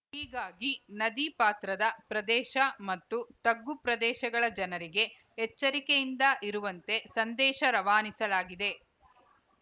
ಹೀಗಾಗಿ ನದಿಪಾತ್ರದ ಪ್ರದೇಶ ಮತ್ತು ತಗ್ಗು ಪ್ರದೇಶಗಳ ಜನರಿಗೆ ಎಚ್ಚರಿಕೆಯಿಂದ ಇರುವಂತೆ ಸಂದೇಶ ರವಾನಿಸಲಾಗಿದೆ